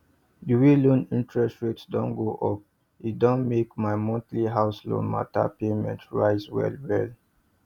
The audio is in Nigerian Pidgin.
the way loan interest rate don go up e don make my monthly house loan matter payment rise well well